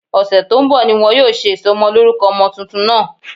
Ọ̀sẹ̀ tó ń bọ̀ ni wọn yóò ṣe ìsọmọlórúkọ ọmọ tuntun náà